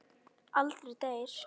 Aldrei deyr.